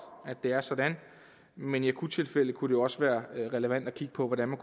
at det er sådan men i akuttilfælde kunne det jo også være relevant at kigge på hvordan man